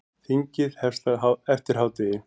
Þingið hefst eftir hádegi.